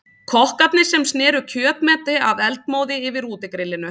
Kokkarnir sem sneru kjötmeti af eldmóði yfir útigrillinu.